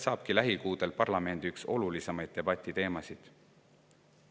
See ongi lähikuudel parlamendi üks olulisemaid debatiteemasid.